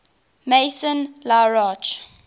maison la roche